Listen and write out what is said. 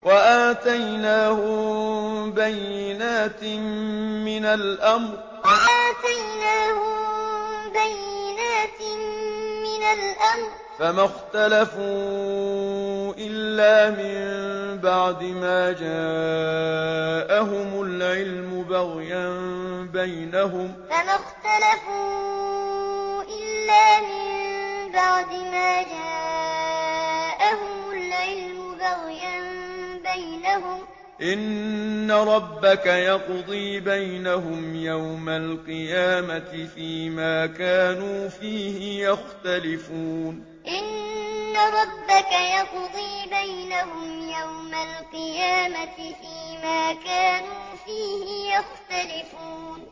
وَآتَيْنَاهُم بَيِّنَاتٍ مِّنَ الْأَمْرِ ۖ فَمَا اخْتَلَفُوا إِلَّا مِن بَعْدِ مَا جَاءَهُمُ الْعِلْمُ بَغْيًا بَيْنَهُمْ ۚ إِنَّ رَبَّكَ يَقْضِي بَيْنَهُمْ يَوْمَ الْقِيَامَةِ فِيمَا كَانُوا فِيهِ يَخْتَلِفُونَ وَآتَيْنَاهُم بَيِّنَاتٍ مِّنَ الْأَمْرِ ۖ فَمَا اخْتَلَفُوا إِلَّا مِن بَعْدِ مَا جَاءَهُمُ الْعِلْمُ بَغْيًا بَيْنَهُمْ ۚ إِنَّ رَبَّكَ يَقْضِي بَيْنَهُمْ يَوْمَ الْقِيَامَةِ فِيمَا كَانُوا فِيهِ يَخْتَلِفُونَ